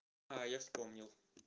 а я вспомнил